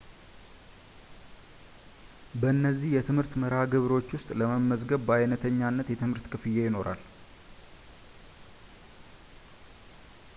በእነዚህ የትምህርት መርሃ ግብሮች ውስጥ ለመመዝገብ በአይነተኝነት የትምህርት ክፍያ ይኖራል